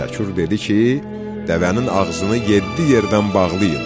Təkur dedi ki, dəvənin ağzını yeddi yerdən bağlayın.